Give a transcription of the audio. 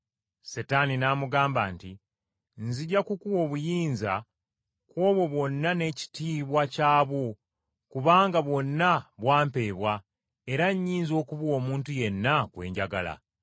Setaani n’amugamba nti, “Nzija kukuwa obuyinza ku obwo bwonna n’ekitiibwa kyabwo, kubanga bwonna bwa mpeebwa era nnyinza okubuwa omuntu yenna gwe njagala.